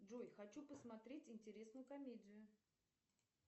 джой хочу посмотреть интересную комедию